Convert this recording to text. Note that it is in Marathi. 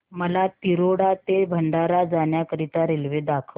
मला तिरोडा ते भंडारा जाण्या करीता रेल्वे दाखवा